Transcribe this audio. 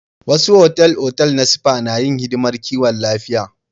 Wasu otal-otal na spa na yin hidimar kiwon lafiya.